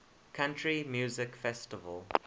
country music festival